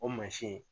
O mansin